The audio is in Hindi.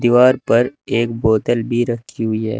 दीवार पर एक बोतल भी रखी हुई है।